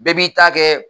Bɛɛ b'i ta kɛ